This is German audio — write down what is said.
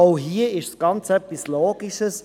Auch hier geht es um etwas Logisches.